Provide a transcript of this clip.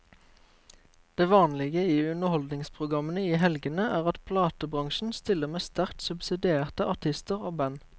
Det vanlige i underholdningsprogrammene i helgene er at platebransjen stiller med sterkt subsidierte artister og band.